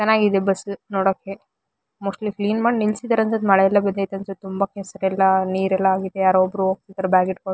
ಚೆನ್ನಾಗಿದೆ ಬಸ್ಸ ನೋಡೋಕೆ ಮೋಸ್ಟ್ಲಿ ಕ್ಲೀನ್ ಮಾಡಿ ನಿಲ್ಸಿದ್ದರೆ ಅನ್ಸುತ್ತೆ ಮಳೆ ಎಲ್ಲ ಬಿದೈತೆ ಅನ್ಸುತ್ತೆ ತುಂಬ ಕೆಸರೆಲ್ಲ ನೀರೆಲ್ಲ ಆಗಿದೆ ಯಾರೋ ಒಬ್ರ್ ಹೋಗ್ತಾ ಇದ್ದಾರೆ ಬ್ಯಾಗ್ ಹಿಡ್ಕೊಂಡು--